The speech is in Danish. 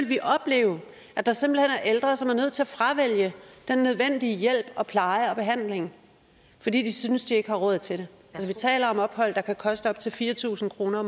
vil opleve at der simpelt hen er ældre som er nødt til at fravælge den nødvendige hjælp og pleje og behandling fordi de synes de ikke har råd til det vi taler om ophold der kan koste op til fire tusind kroner